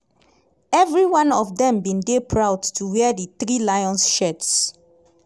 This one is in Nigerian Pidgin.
evri one of dem bin dey proud to wear di three lions shirts.